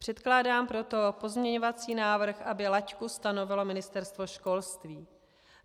Předkládám proto pozměňovací návrh, aby laťku stanovilo Ministerstvo školství.